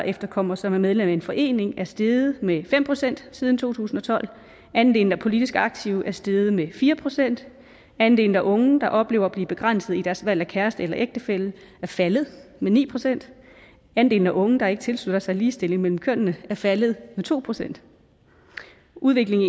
efterkommere som er medlem af en forening er steget med fem procent siden to tusind og tolv andelen af politisk aktive er steget med fire procent andelen af unge der oplever at blive begrænset i deres valg af kæreste eller ægtefælle er faldet med ni procent andelen af unge der ikke tilslutter sig ligestilling mellem kønnene er faldet med to procent udviklingen